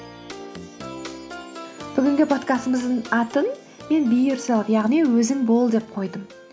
бүгінгі подкастымыздың атын мен би ерселф яғни өзің бол деп қойдым